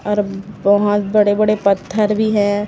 और बहोत बड़े बड़े पत्थर भी है।